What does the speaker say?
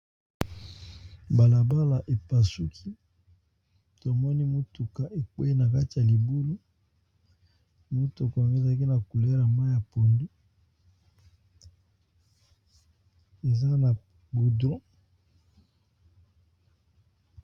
Balabala epasuki tomoni mutuka ekweyi na kati ya libulu motuka ngo ezalaki na couleur ya mayi ya pondu eza na gudron.